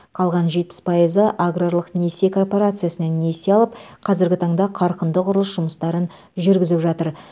қалған жетпіс пайызы аграрлық несие корпорациясынан несие алып қазіргі таңда қарқынды құрылыс жұмыстарын жүргізіп жатыр